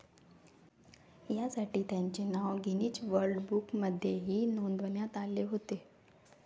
या साठी त्यांचे नाव गिनीज वर्ल्ड बुकमध्येही नोंदवण्यात आले होते.